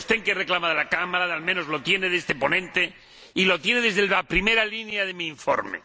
el que reclama de la Cámara, al menos lo tiene de este ponente, y lo tiene desde la primera línea de mi informe.